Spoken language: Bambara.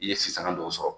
I ye sisanga dɔw sɔrɔ